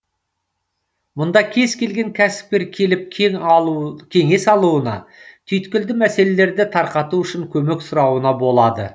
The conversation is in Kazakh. мұнда кез келген кәсіпкер келіп кеңес алуына түйткілді мәселелерді тарқату үшін көмек сұрауына болады